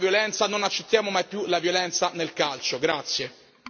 è. Diamo un calcio alla violenza, non accettiamo mai più la violenza nel calcio!